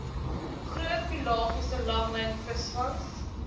groot pelagiese langlynvisvangs